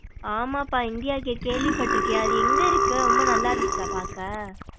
ஆமாப்பா India gate கேள்விப்பட்ருக்கேன் அது எங்க இருக்கு ரொம்ப நல்லா இருந்துச்சா பாக்க.